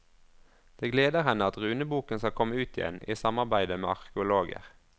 Det gleder henne at runeboken skal komme ut igjen, i samarbeide med arkeologer.